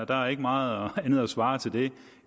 der er ikke meget andet at svare til det